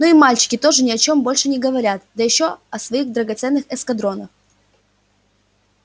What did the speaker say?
ну и мальчики тоже ни о чём больше не говорят да ещё о своих драгоценных эскадронах